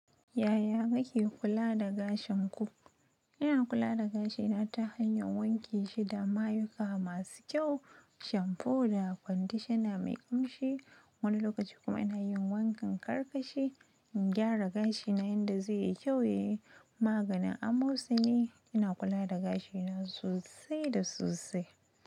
Yaya kake kula da gashin ku? Ina kula da gashi na ta hanya wanke shi da mayuka masu kyau. Shampoo da conditioner mai kamshi. Wani lokaci kuma ina yin wankan ƙarƙashi in gyara gashina inda zai yi kyau, yayi maganin amosani. Ina kula da gashina sosai da sosai.